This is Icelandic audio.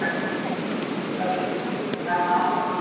Kamilla yppti öxlum en kunni ekki við annað en að horfa á Nikka.